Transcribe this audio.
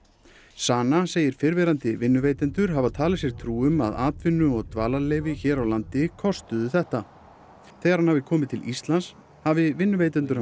Sana segir fyrrverandi vinnuveitendur hafa talið sér trú um að atvinnu og dvalarleyfi hér á landi kostuðu þetta þegar hann hafi komið til Íslands hafi vinnuveitendur